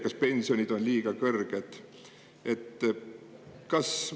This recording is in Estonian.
Kas pensionid on liiga kõrged?